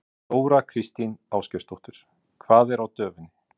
Þóra Kristín Ásgeirsdóttir: Hvað er á döfinni?